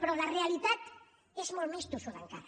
però la realitat és molt més tossuda encara